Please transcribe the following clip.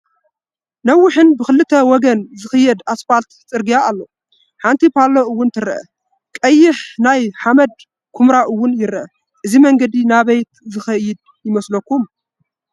ነዊሕ ብኽልተ ወገን ዝኸይድ ኣስፓልቲ ፅርግያ ኣሎ፡፡ ሓንቲ ፓሎ ውን ትረአ፡፡ ቀይሕ ናይ ሓመድ ኩምራ ውን ይረአ፡፡ እዚ መንገዲ ናበይ ዝኸድ ይመስለኩ?